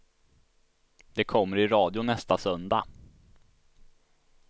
Det kommer i radio nästa söndag.